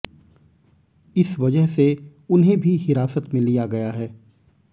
इस वजह से उन्हें भी हिरासत में लिया गया है